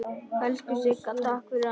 Elsku Sigga, takk fyrir allt.